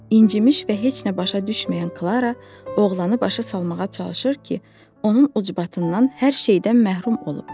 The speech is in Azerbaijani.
İncimiş və heç nə başa düşməyən Klara oğlanı başa salmağa çalışır ki, onun ucbatından hər şeydən məhrum olub.